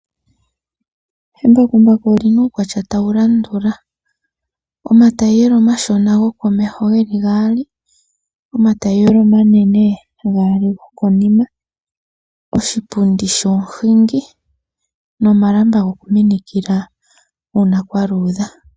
Embakumbaku olina uukwatya tawu landula: omatayiyela omashona gokomeho geli gaali, omatayiyela omanene gaali gokonima, oshipundi shomuhingi nomalamba goku minikila uuna kwa luudha.